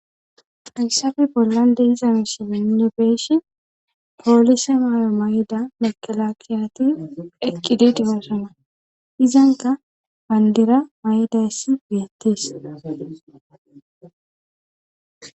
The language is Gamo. hayssafe bollan dehizami si menne beeshi poolise maayo may7ida mekelakiyati eqqididifasana izanka bandira may7idayssi geyettis